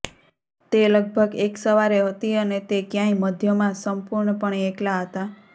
તે લગભગ એક સવારે હતી અને તે ક્યાંય મધ્યમાં સંપૂર્ણપણે એકલા હતા